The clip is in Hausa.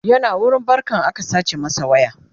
yana wurin barkan aka sace masa waya